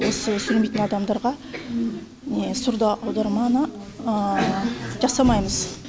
осы сөйлемейтін адамдарға не сурдоаударманы жасамаймыз